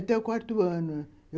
Até o quarto ano.